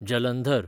Jalandhar